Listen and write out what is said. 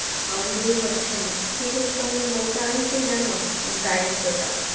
দূর হচ্ছে না শিশু শ্রম এর মূল কারণ কি জানো দারিদ্রতা